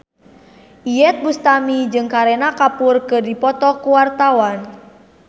Iyeth Bustami jeung Kareena Kapoor keur dipoto ku wartawan